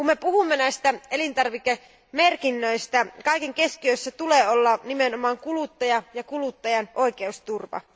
Kun me puhumme näistä elintarvikemerkinnöistä, kaiken keskiössä tulee olla nimenomaan kuluttaja ja kuluttajan oikeusturva.